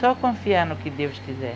Só confiar no que Deus quiser.